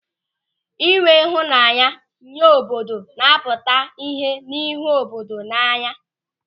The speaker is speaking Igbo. Ịnwe ịhụnanya nye obodo napụta ihe n'ịhụ obodo n'anya.